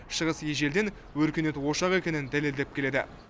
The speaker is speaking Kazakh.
шығыс ежелден өркениет ошағы екенін дәлелдеп келеді